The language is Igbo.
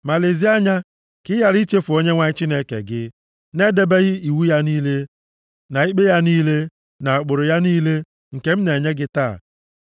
Ma lezie anya ka ị ghara ichefu Onyenwe anyị Chineke gị, na-edebeghị iwu ya niile, na ikpe ya niile, na ụkpụrụ ya niile, nke m na-enye gị taa.